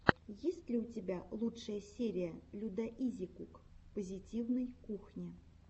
есть ли у тебя лучшая серия людаизикук позитивной кухни